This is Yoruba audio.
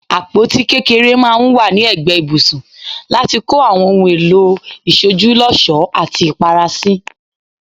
Àpótí kékeré maa n wa ni egbe ibùsùn lati ko Awon ohun èlò ìsojúlósòó ati Ìpara si.